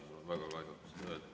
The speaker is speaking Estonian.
Mul on väga kahju seda öelda.